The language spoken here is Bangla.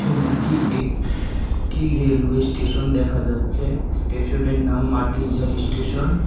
ছবিটি একটি রেলওয়ে স্টেশন দেখা যাচ্ছে স্টেশনের নাম মাটিজারি স্টেশন ।